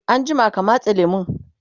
anjima ka matse lemun!